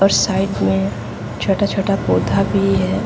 और साइड में छोटा-छोटा पौधा भी है।